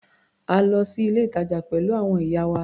A lọ sí ilé-ìtàjà pẹ̀lú àwọn ìyá wa.